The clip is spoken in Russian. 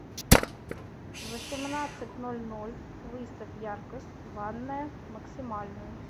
в восемнадцать ноль ноль выставь яркость ванная максимальную